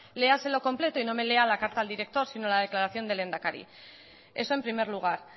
léaselo completo y no me lea la carta al director sino la declaración del lehendakari eso en primer lugar